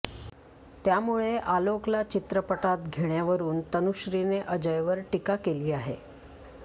त्यामुळे आलोकला चित्रपटात घेतण्यावरून तनुश्रीने अजयवर टीका केली आहे